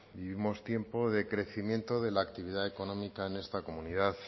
vivimos tiempos de crecimiento de la actividad económica en esta comunidad